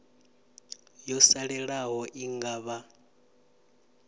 yo salelaho i nga vha